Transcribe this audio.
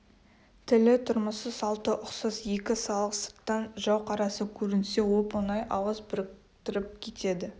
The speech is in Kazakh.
тілі тұрмысы салты ұқсас екі халық сырттан жау қарасы көрінсе оп-оңай ауыз біріктіріп кетеді